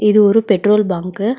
இது ஒரு petrol bunk .